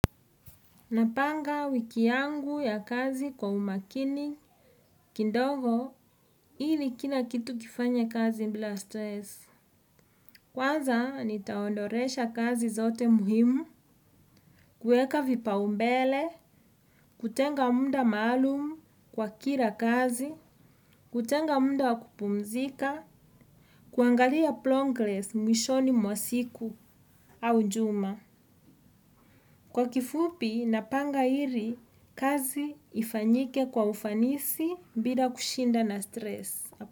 Napanga wiki yangu ya kazi kwa umakini, kindogo, hili kila kitu kifanya kazi mbila stress. Kwaza, nitaondoresha kazi zote muhimu, kueka vipa umbele, kutenga munda maalumu kwa kira kazi, kutenga munda wakupumzika, kuangalia plongles mwishoni mwasiku au njuma. Kwa kifupi, napanga iri kazi ifanyike kwa ufanisi bila kushinda na stres.